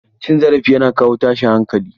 Cin zarafi yana kawo tashin hankali.